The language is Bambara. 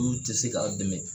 Minnu tɛ se k'a dɛmɛ.